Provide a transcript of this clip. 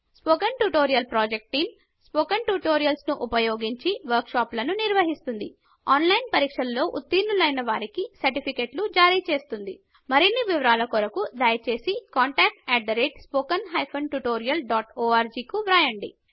spoken tutorial project team spoken tutorials ఉపయోగించి work షాపులను నిర్వహిస్తుంది ఆన్లైన్ పరీక్ష పాస్ అయిన వారికి సర్టిఫికేట్లు జరిచేస్తుంది మరిన్ని వివరాలకు కొరకు దయచేసి contactspoken tutorialorg కు వ్రాయండి